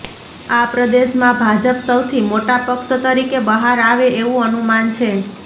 આ પ્રદેશમાં ભાજપ સૌથી મોટા પક્ષ તરીકે બહાર આવે એવું અનુમાન છે